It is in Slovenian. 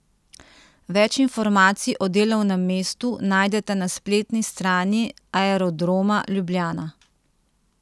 Več informacij o delovnem mestu najdete na spletni strani Aerodroma Ljubljana.